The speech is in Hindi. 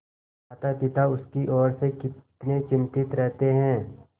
मातापिता उसकी ओर से कितने चिंतित रहते हैं